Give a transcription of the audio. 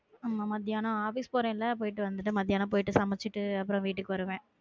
ஆமா மதியானம் office போறேன்ல போயிட்டு வந்துட்டு மதியானம் போயிட்டு சமைச்சுட்டு அப்புறம் வீட்டுக்கு வருவேன்